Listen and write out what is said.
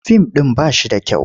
Fim ɗin ba shi da kyau.